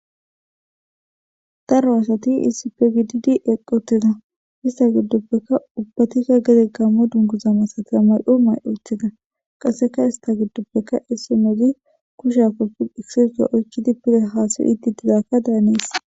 daro asati isi pgddi eqqotida ista giddoppeka ubbatikka gede gammo dunguzama satia may7o may7otida qasseka ista giddoppeka issi moodi kusha koppi isisdo oykchidi pide haasiy idditidakka daanees